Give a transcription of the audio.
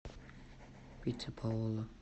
пицца паоло